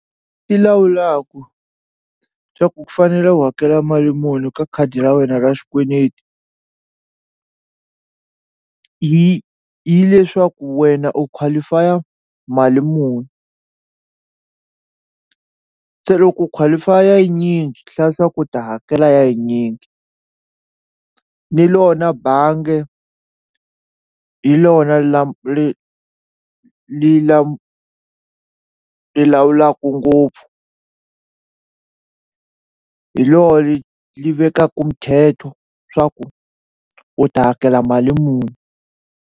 I lawulaku swa ku ku fanele u hakela mali muni ka khadi ra wena ra xikweneti hi hileswaku wena u qualify mali muni se loko qualify-a yinyingi swi hlaya swa ku u ta hakela ya yinyingi ni lona bange hi lona lawulaku ngopfu hi lo li li vekaku muthetho swa ku u ta hakela mali muni.